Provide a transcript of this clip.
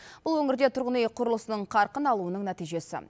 бұл өңірде тұрғын үй құрылысының қарқын алуының нәтижесі